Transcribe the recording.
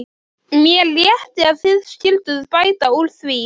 Mér létti að þið skylduð bæta úr því.